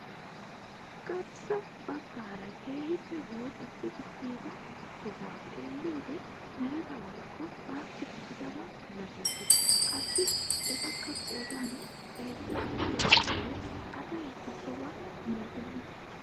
Garssa baggaara keehippe woocettidi kiyida sohuwaa xeelliyoode mereta woykko baassi kiyidaba milatees. Qassi etikka qoodan heezza gidiyoo giishshawu asi kessoba milatenna.